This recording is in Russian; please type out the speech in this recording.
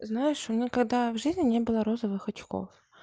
знаешь у меня когда в жизни не было розовых очков